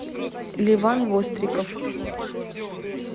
леван востриков